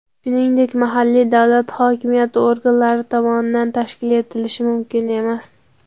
shuningdek mahalliy davlat hokimiyati organlari tomonidan tashkil etilishi mumkin emas.